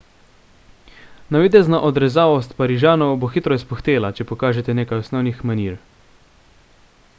navidezna odrezavost parižanov bo hitro izpuhtela če pokažete nekaj osnovnih manir